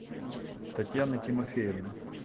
татьяны тимофеевны